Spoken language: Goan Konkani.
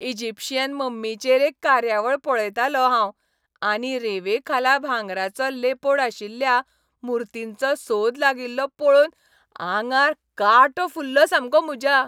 इजिप्शीयन मम्मींचेर एक कार्यावळ पळयतालों हांव आनी रेंवेखाला भांगराचो लेपोड आशिल्ल्या मुर्तींचो सोद लागिल्लो पळोवन आंगार कांटो फुल्लो सामको म्हज्या.